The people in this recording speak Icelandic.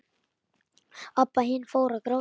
Abba hin fór að gráta.